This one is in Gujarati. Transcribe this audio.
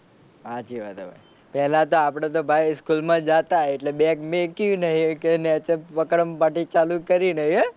સાચી વાત હે ભાઈ. પેલા તો આપડે તો ભાઈ સ્કૂલ માં જતાં એટલે બેગ મેકયું નહીં કે નીચે વક્રમ પાર્ટી ચાલુ કરી નહીં હે.